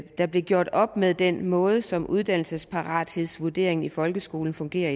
der blev gjort op med den måde som uddannelsesparathedsvurderingen i folkeskolen fungerer